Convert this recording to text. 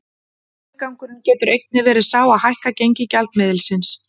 Tilgangurinn getur einnig verið sá að hækka gengi gjaldmiðilsins.